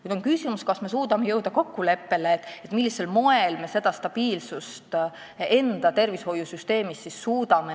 Küsimus on selles, kas me suudame jõuda kokkuleppele, millisel moel me suudame neile anda seda stabiilsust enda tervishoiusüsteemis.